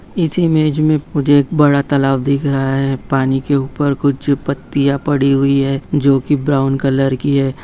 इस इमेज में मुझे एक बड़ा तालाब दिख रहा है पानी के ऊपर कुछ जो पत्तियां पड़ी हुई है जो कि ब्राउन कलर की है।